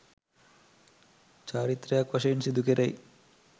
චාරිත්‍රයක් වශයෙන් සිදුකෙරෙයි.